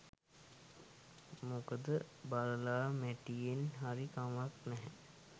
මොකද බළලා මැටියෙන් හරි කමක් නැහැ